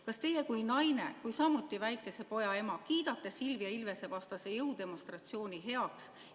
Kas teie kui naine ja kui samuti väikese poja ema kiidate Silvia Ilvese vastase jõudemonstratsiooni heaks?